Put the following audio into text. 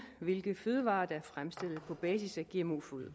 hvilke fødevarer der er fremstillet på basis af gmo foder